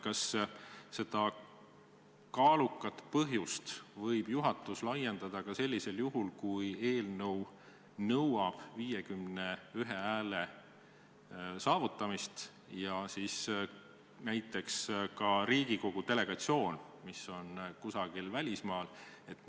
Kas seda kaalukat põhjust võib juhatus rakendada ka sellisel juhul, kui eelnõu nõuab vähemalt 51 poolthäält, aga näiteks Riigikogu delegatsioon on parajasti kusagil välismaal?